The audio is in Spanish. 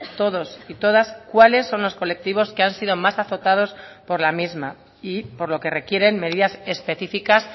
todos y todas cuáles son los colectivos que han sido más azotados por la misma y por lo que requieren medidas específicas